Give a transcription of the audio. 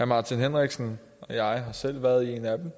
martin henriksen og jeg har selv været i en af dem